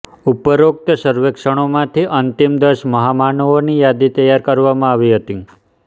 ઉપરોક્ત સર્વેક્ષણમાંથી અંતિમ દસ મહામાનવોની યાદી તૈયાર કરવામાં આવી હતી